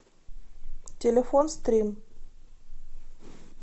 телефон стрим